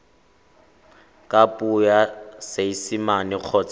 ka puo ya seesimane kgotsa